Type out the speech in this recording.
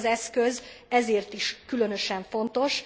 Ez az eszköz ezért is különösen fontos.